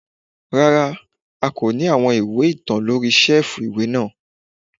Rárá, a kò ní àwọn ìwé ìtàn lóri ṣẹ́ẹ̀fù ìwé náà.